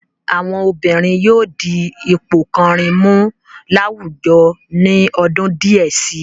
Àwọn obìnrin yóò di ipò kàn-àn-rìn mú láwùjọ ní ọdún díẹ̀ si.